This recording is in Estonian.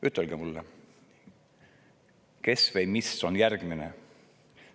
Ütelge mulle, kes või mis on järgmine.